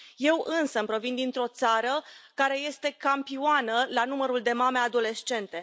Eu însămi provin dintr o țară care este campioană la numărul de mame adolescente.